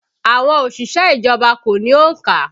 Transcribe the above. Àwọn òṣìṣẹ́ ìjọba kò ní òǹkà